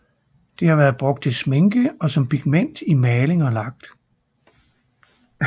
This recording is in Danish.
Det har været brugt til sminke og som pigment i maling og lak